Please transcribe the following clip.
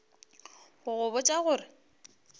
go go botša go re